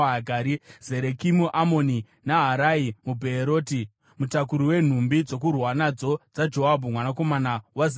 Zereki muAmoni, Naharai muBheeroti, mutakuri wenhumbi dzokurwa nadzo dzaJoabhu mwanakomana waZeruya,